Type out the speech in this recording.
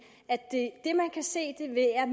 at det